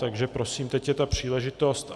Takže prosím, teď je ta příležitost.